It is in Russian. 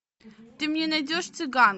ты мне найдешь цыган